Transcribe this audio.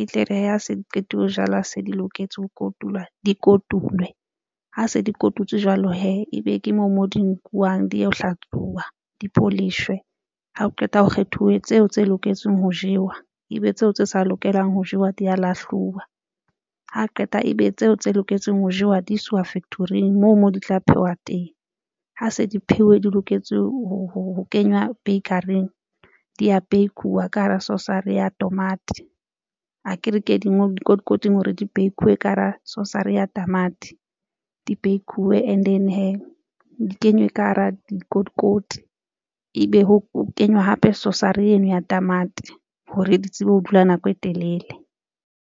e tle re ha se di qete ho jalwa se di loketse ho kotulwa, di kotulwe ha se di kotutswu jwalo hee ebe ke moo mo di nkuwang di yeo hlatsuwa dipholishe. Ha o qeta ho kgethuwe tseo tse loketseng ho jewa, ebe tseo tse sa lokelang ho jewa di ya lahluwa ha qeta ebe tseo tse loketseng ho jewa di iswa factory-ng moo, moo di tla phehwa teng ha se di pheuwe di loketse ho kenywa bakery-ng di ya bake-uwa ka hara sauce-ry ya tamati, akere ke di ngolwe dikotikoting hore di bake-ilwe ka hara sauce-ry ya tamati di bakuwe and then hee di kenywe ka hara dikotikoti ebe ho kenywa hape sauce-ry eno ya tamati hore di tsebe ho dula nako e telele.